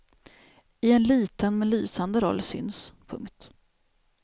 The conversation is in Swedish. I en liten men lysande roll syns. punkt